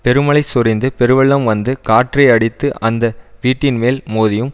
பெருமழை சொரிந்து பெருவெள்ளம் வந்து காற்று அடித்து அந்த வீட்டின்மேல் மோதியும்